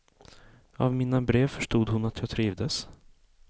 Av mina brev förstod hon att jag trivdes.